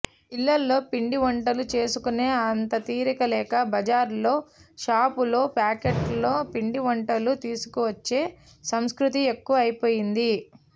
ఇళ్లలో పిండి వంటలు చేసుకునే అంత తీరిక లేక బజారులో షాపులో ప్యాకెట్లో పిండివంటలు తీసుకువచ్చే సంస్కృతి ఎక్కువ అయిపోయింది